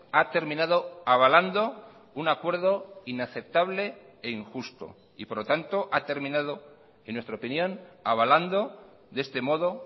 ha terminado avalando un acuerdo inaceptable e injusto y por lo tanto ha terminado en nuestra opinión avalando de este modo